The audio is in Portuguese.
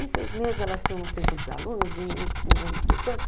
Em seis meses elas tinham não sei quantos alunos, em um ano não sei quantos.